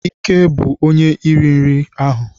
Ike bụ onye iri nri riri ahụ.